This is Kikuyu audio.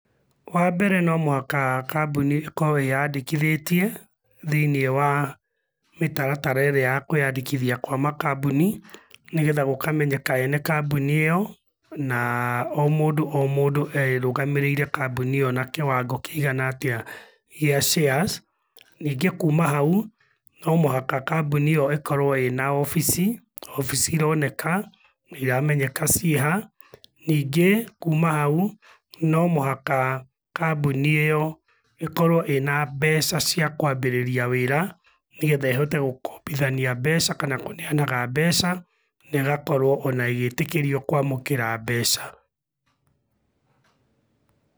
Wambere no mũhaka, kambuni ikorũo ĩyandĩkithĩtie thĩiniĩ wa, mĩtaratara ĩrĩa ya kwĩyandĩkithia kwa makambuni, nĩgetha gũkamenyeka ene kambũni ĩyo, na o mũndũ o mũndũ arũgamirĩire kambuni ĩyo na kĩwango kĩigana atĩa, gĩa shares, ningĩ kuma hau, no mũhaka kambũni ĩyo ĩkorũo ĩna obici, obici ironeka, nĩiramenyeka ciĩha. Ningĩ, kuma hau, no mũhaka kambuni ĩyo, ĩkorũo ĩna mbeca cia kũambĩrĩria wĩra, nĩgetha ĩhote gũkombithania mbeca kana kũneanaga mbeca, na ĩgakorũo ona ĩgĩtĩkĩrio kwamũkĩra mbeca.